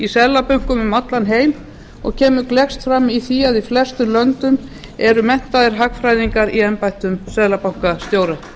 seðlabönkum um allan heim og kemur gleggst fram í því að í flestum löndum eru menntaðir hagfræðingar í embættum seðlabankastjóra